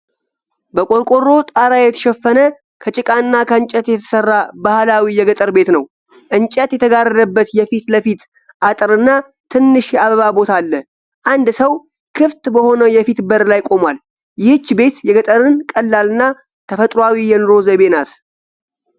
በቆርቆሮ ጣሪያ የተሸፈነ፣ ከጭቃና ከእንጨት የተሠራ ባህላዊ የገጠር ቤት ነው። እንጨት የተጋረደበት የፊት ለፊት አጥርና ትንሽ የአበባ ቦታ አለ። አንድ ሰው ክፍት በሆነው የፊት በር ላይ ቆሟል። ይህች ቤት የገጠርን ቀላልና ተፈጥሮአዊ የኑሮ ዘይቤ ናት።